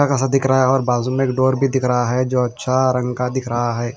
अच्छा ख़ासा दिख रहा है और बाजू में एक डोर भी दिख रहा है जो अच्छा रंग का दिख रहा है।